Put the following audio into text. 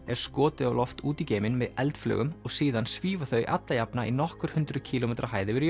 er skotið út í geim með eldflaugum og síðan svífa þau alla jafna í nokkur hundruð kílómetra hæð yfir